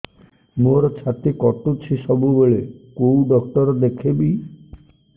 ମୋର ଛାତି କଟୁଛି ସବୁବେଳେ କୋଉ ଡକ୍ଟର ଦେଖେବି